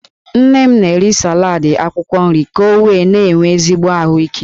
Nne m na-eri salad akwukwo nri ka o wee na-enwe ezigbo ahuike.